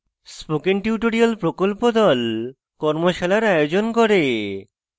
spoken tutorial প্রকল্প the কর্মশালার আয়োজন করে